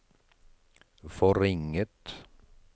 forringet